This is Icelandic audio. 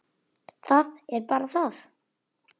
Það er bara það!